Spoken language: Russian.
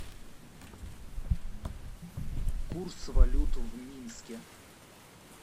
курс валют в минске